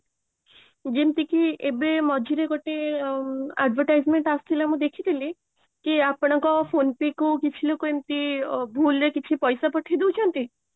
ଯେମିତିକି ଏବେ ମଝିରେ ଗୋଟେ ଆଉ advertisement ଆସିଥିଲା ମୁଁ ଦେଖିଥିଲି କି ଆପଣଙ୍କ phone pay କୁ କିଛି ଲୋକ ଏମିତି ଭୁଲ ରେ କିଛି ପଇସା ପଠେଇ ଦଉଛନ୍ତି